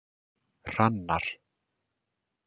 Hrannar